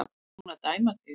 Er hún að dæma þig?